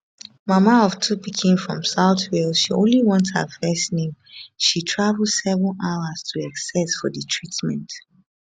mama of two pikin from south wales she only want her first name she travel seven hours to essex for di treatment